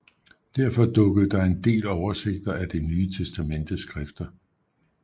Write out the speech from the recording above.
Derfor dukkede der en del oversigter af det Ny Testamentes skrifter